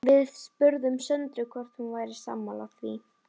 Við spurðum Söndru hvort hún væri sammála því?